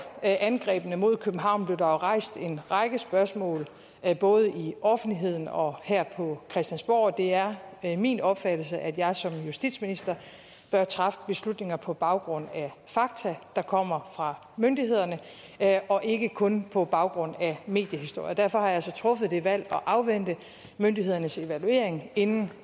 angrebene mod københavn blev der jo rejst en række spørgsmål både i offentligheden og her på christiansborg det er min opfattelse at jeg som justitsminister bør træffe beslutninger på baggrund af fakta der kommer fra myndighederne og ikke kun på baggrund af mediehistorier og derfor har jeg så truffet det valg at afvente myndighedernes evaluering inden